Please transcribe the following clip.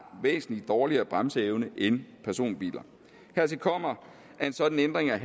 væsentlig dårligere bremseevne end personbiler hertil kommer at en sådan ændring af